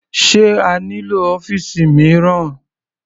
Sé a nílò ọ́fìsì mìíràn?